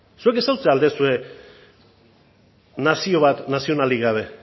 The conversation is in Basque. zuek ezagutzen al duzue nazio bat nazionalik gabe